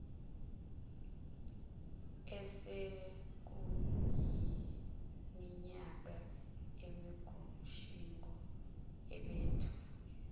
osekuyiminyaka bengumtshingo ubethwa